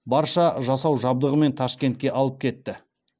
барша жасау жабдығымен ташкентке алып кетті